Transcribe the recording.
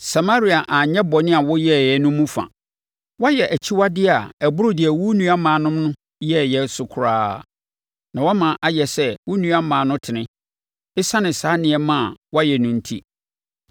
Samaria anyɛ bɔne a woyɛeɛ no mu fa. Woayɛ akyiwadeɛ a ɛboro deɛ wo nuammaanom no yɛeɛ no so koraa, na woama ayɛ sɛ wo nuammaa no tene, ɛsiane saa nneɛma a woayɛ no enti.